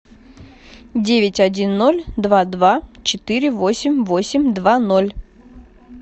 девять один ноль два два четыре восемь восемь два ноль